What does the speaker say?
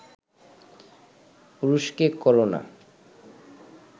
পুরুষকে কোরো না